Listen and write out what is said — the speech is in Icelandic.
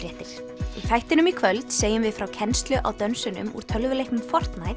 þættinum í kvöld segjum við frá kennslu á dönsunum úr tölvuleiknum